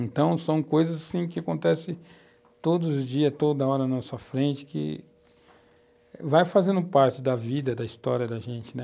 Então, são coisas assim que acontecem todos os dias, toda hora na nossa frente, que vai fazendo parte da vida, da história da gente, né?